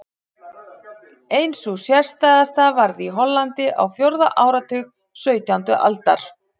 Ein sú sérstæðasta varð í Hollandi á fjórða áratug sautjándu aldar.